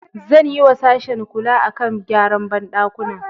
Zan yiwa sashen kula a kan gyaran banɗakuna